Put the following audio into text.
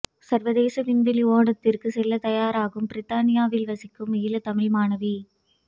சர்வதேச விண்வெளி ஓடத்திற்கு செல்ல தயாராகும் பிரித்தானியாவில் வசிக்கும் ஈழத்தமிழ் மாணவி